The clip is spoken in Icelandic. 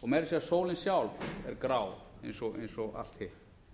og meira að segja sólin sjálf er grá eins og allt hitt